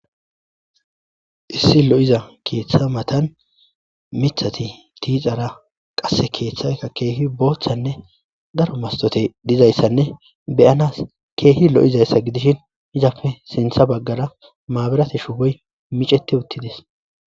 Issi lo'iza keeththa matan mithati tiixara qasse keeththayka keehi booththanne garo mastote dizayssanne beyanas keehi lo'izayssa gidishin izafe sintha baggara maaberati shuboy miceti uttidis.